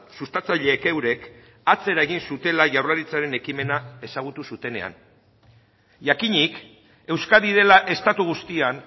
sustatzaileek eurek atzera egin zutela jaurlaritzaren ekimena ezagutu zutenean jakinik euskadi dela estatu guztian